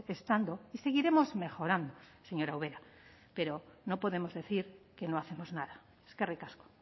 estando y seguiremos mejorando señora ubera pero no podemos decir que no hacemos nada eskerrik asko